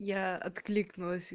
я откликнулась